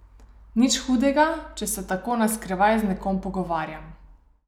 Nič hudega, če se tako na skrivaj z nekom pogovarjam.